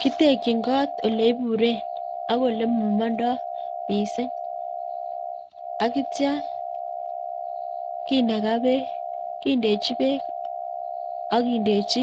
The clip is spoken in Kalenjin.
Kitekyin kot ole buren ako ole momondo missing akitya kindechi beek ak kindechi